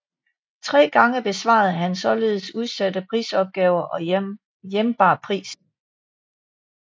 Tre gange besvarede han således udsatte prisopgaver og hjembar prisen